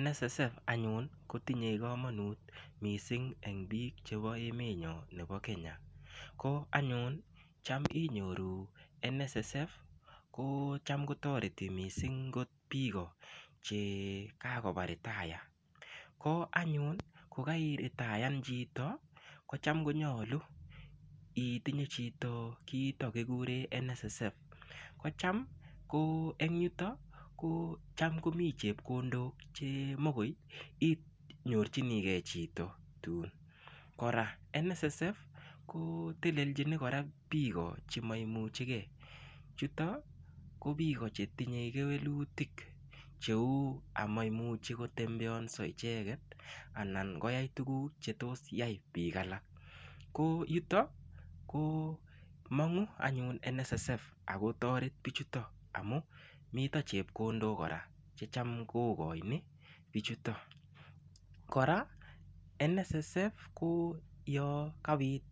NSSF anyun kotinye kamanut missing en biik ab emenyon nebo Kenya, ko anyun cham inyoru kotoreti missing biik chekaba retire, ko anyun tam iretaiyan chito konyolu itinye chito kiito kikure NSSF kotam en yuto tam komi chepkondok chemokoinyorchinigei chito tun, kora NSSF kotelelchin kora biik chemoimuchegei anan ko chetinye kewelutik chemoimuchi kobendat icheket anan koyai tuguk chetos yai biik alak ko en yuto komong'u NSSF akotoret biik amun mi chepkondok chetam kokoin bichuton, kora NSSF yon kabit